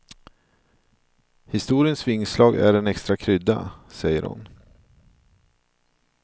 Historiens vingslag är en extra krydda, säger hon.